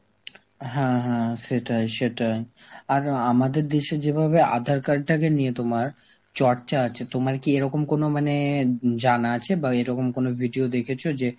হ্যাঁ হ্যাঁ সেটাই সেটাই, আর আমাদের দেশে যেইভাবে আধার card টাকে নিয়ে তোমার চর্চা আছে, তোমার কি এরকম কোন মানে উম জানা আছে বা এরকম কোন video দেখেছ যে